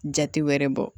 Jate wɛrɛ bɔ